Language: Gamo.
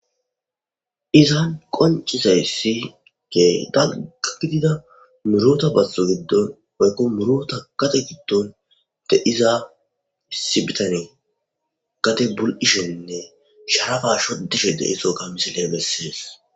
izan qoncizayssi ke dalqa gidida murota basso giddon oykko murota kate giddon de iza sibitane gate bul7ishenne sharafa shoddishe deiso ga misile messees